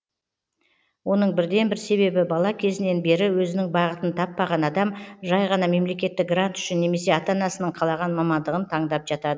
оның бірден бір себебі бала кезінен бері өзінің бағытын таппаған адам жай ғана мемлекеттік грант үшін немесе ата анасының қалаған мамандығын таңдап жатады